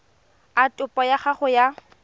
a topo ya gago ya